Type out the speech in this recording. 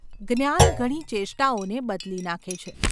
જ્ઞાન ઘણી ચેષ્ટાઓને બદલી નાખે છે.